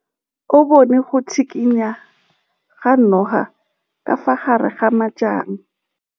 O bone go tshikinya ga noga ka fa gare ga majang.